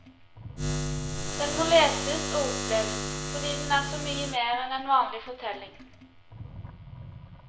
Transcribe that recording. Den må leses og oppleves fordi den er så mye mer enn en vanlig fortelling.